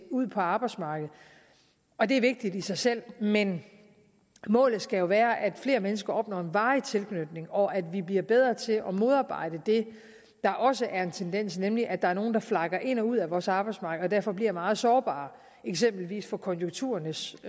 ud på arbejdsmarkedet og det er vigtigt i sig selv men målet skal jo være at flere mennesker opnår en varig tilknytning og at vi bliver bedre til at modarbejde det der også er en tendens nemlig at der er nogle der flakker ind og ud af vores arbejdsmarked og derfor bliver meget sårbare eksempelvis over for konjunkturernes